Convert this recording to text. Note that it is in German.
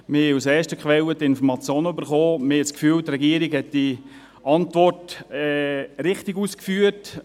Wir erhielten die Informationen aus erster Quelle und haben das Gefühl, die Regierung habe in ihrer die Antwort richtig ausgeführt.